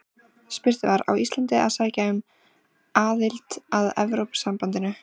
Spurt var: Á Ísland að sækja um aðild að Evrópusambandinu?